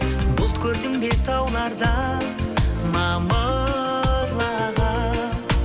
бұлт көрдің бе таулардан мамырлаған